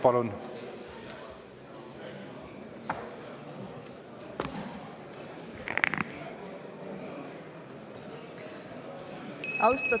Palun!